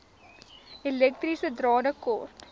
elektriese drade kort